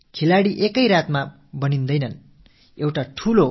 ஒரே இரவில் எந்த விளையாட்டு வீரரும் உருவாவதில்லை